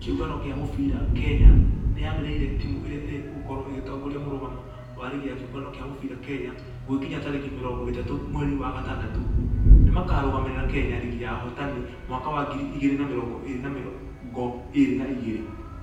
Kĩũngano gĩa mũbira kenya nĩyanĩrĩire timũ ĩrĩ ĩgũkorwo ĩgĩtongoria mũrũgamo wa rigi ya kĩũngano gĩa mũbira kenya gũgĩkinya tarĩki mĩrongo ĩtatũ mweri wa gatandatũ. Nĩmakarũgamĩrĩra kenya rigi ya ahotani mwaka wa ngiri igĩrĩ na mĩrongo ĩrĩ na mĩrongo ĩrĩ na igĩrĩ .